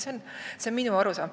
See on minu arusaam.